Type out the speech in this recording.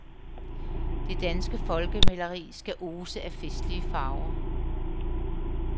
Det danske folkemaleri skal ose af festlige farver.